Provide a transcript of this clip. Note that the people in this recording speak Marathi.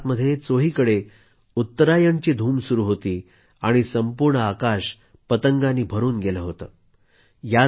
गुजरातमध्ये चैाहीकडे उत्तरायणची धूम सुरू होती आणि संपूर्ण आकाश पतंगांनी भरून गेलं होतं